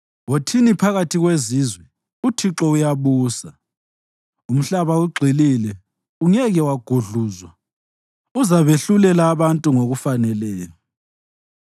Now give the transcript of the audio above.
Wothini phakathi kwezizwe, “ UThixo uyabusa.” Umhlaba ugxilile, ungeke wagudluzwa; uzabehlulela abantu ngokubafaneleyo.